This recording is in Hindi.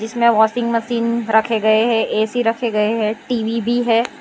इसमें वाशिंग मशीन रखे गए हैं ए_सी रखे गए हैं टी_वी भी है।